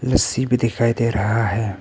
लस्सी भी दिखाई दे रहा है।